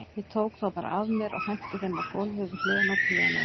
Ég tók þá bara af mér og henti þeim á gólfið við hliðina á píanóinu.